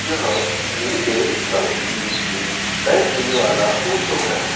यह नीले रंग की एक बैटरी वाला ऑटो है।